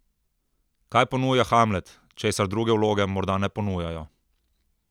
Kaj ponuja Hamlet, česar druge vloge morda ne ponujajo?